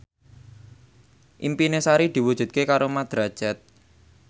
impine Sari diwujudke karo Mat Drajat